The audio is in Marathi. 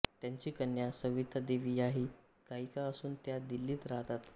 त्यांची कन्या सविता देवी ह्याही गायिका असून त्या दिल्लीत राहतात